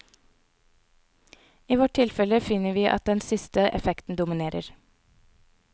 I vårt tilfelle finner vi at den siste effekten dominerer.